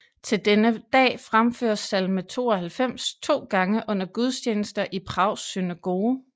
Til denne dag fremføres salme 92 to gange under gudstjenester i Prags synagoge